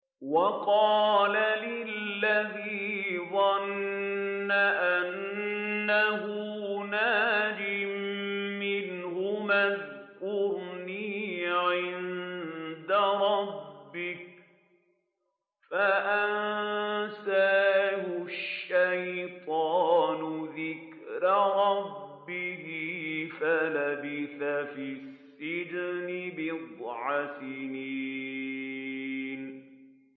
وَقَالَ لِلَّذِي ظَنَّ أَنَّهُ نَاجٍ مِّنْهُمَا اذْكُرْنِي عِندَ رَبِّكَ فَأَنسَاهُ الشَّيْطَانُ ذِكْرَ رَبِّهِ فَلَبِثَ فِي السِّجْنِ بِضْعَ سِنِينَ